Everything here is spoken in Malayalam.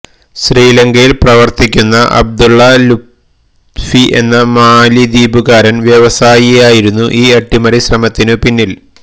ശ്രീലങ്കയിൽപ്രവർത്തിക്കുന്ന അബ്ദുള്ള ലുത്ഫി എന്ന മാലിദ്വീപുകാരൻ വ്യവസായിയായിരുന്നു ഈ അട്ടിമറി ശ്രമത്തിനു പിന്നിൽ